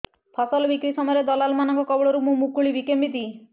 ଫସଲ ବିକ୍ରୀ ସମୟରେ ଦଲାଲ୍ ମାନଙ୍କ କବଳରୁ ମୁଁ ମୁକୁଳିଵି କେମିତି